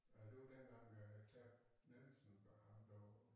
Ja det var dengang øh kan Nielsen det ham der var